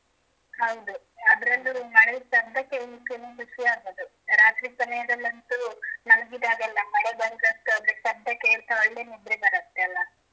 ಹೌದು ಅದ್ರಲ್ಲು ಮಳೆ ಶಬ್ದ ಕೇಲಿಕ್ಕೆನೇ ಖುಷಿ ಆಗದು ರಾತ್ರಿ ಸಮಯದಲ್ಲಂತೂ ಮಲಗಿದಾಗ ಎಲ್ಲ ಮಳೆ ಬಂದ್ರ ಅಂತು ಅದರ ಶಬ್ದ ಕೇಳ್ತಾ ಒಳ್ಳೆ ನಿದ್ರೆ ಬರುತ್ತೆ ಅಲಾ.